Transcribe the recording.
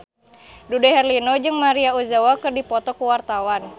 Dude Herlino jeung Maria Ozawa keur dipoto ku wartawan